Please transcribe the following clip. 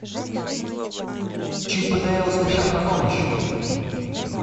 чип и дейл спешат на помощь